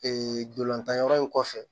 Ee ntolantan yɔrɔ in kɔfɛ